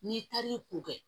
N'i taar'i ko kɛ